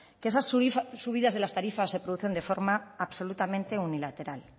que esas subidas de las tarifas se producen de forma absolutamente unilateral